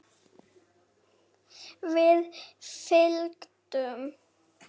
Við fylgdum